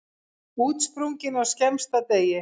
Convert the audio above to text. Útsprungin á skemmsta degi.